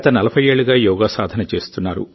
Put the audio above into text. గత 40 ఏళ్లుగా యోగా సాధన చేస్తోంది